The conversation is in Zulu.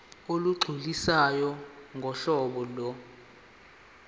olugculisayo ngohlobo lo